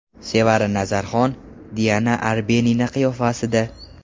Sevara Nazarxon Diana Arbenina qiyofasida.